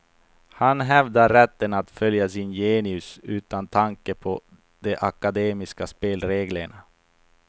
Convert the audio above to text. Han hävdar rätten att följa sin genius utan tanke på de akademiska spelreglerna.